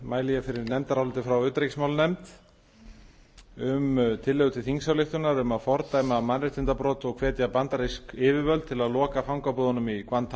ég fyrir nefndaráliti frá utanríkismálanefnd um tillögu til þingsályktunar um að fordæma mannréttindabrot og hvetja bandarísk yfirvöld til að loka fangabúðunum í